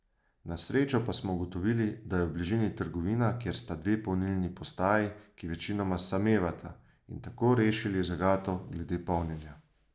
Na srečo pa smo ugotovili, da je v bližini trgovina, kjer sta dve polnilni postaji, ki večinoma samevata, in tako rešili zagato glede polnjenja.